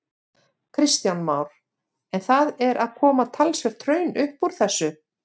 Kristján Már: En það er að koma talsvert hraun upp úr þessu?